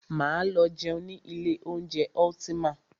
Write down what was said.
Máa lọ jẹun ní ilé oúnjẹ Ultima.